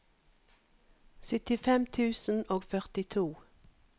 syttifem tusen og førtito